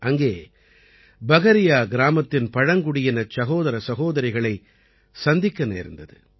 அங்கே பகரியா கிராமத்தின் பழங்குடியினச் சகோதர சகோதரிகளைச் சந்திக்க நேர்ந்தது